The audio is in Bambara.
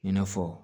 I n'a fɔ